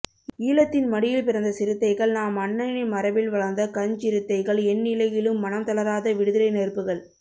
ஈழத்தின் மடியில் பிறந்த சிறுத்தைகள் நாம் அண்ணனின் மரபில் வளர்ந்த கஞ்ச்சிறுத்தைகள் என்னிலையிலும் மனம் தளராத விடுதலை நெருப்புகள்